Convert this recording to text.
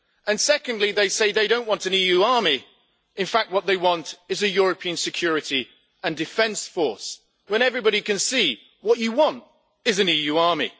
And secondly, they say they don't want an EU army in fact, what they want is a European Security and Defence Force, when everybody can see that what you want is an EU army.